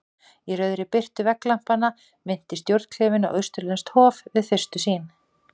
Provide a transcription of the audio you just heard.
Í rauðri birtu vegglampanna minnti stjórnklefinn á austurlenskt hof- við fyrstu sýn.